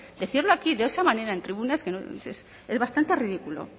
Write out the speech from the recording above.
decirlo aquí de esa manera en tribunas es bastante ridículo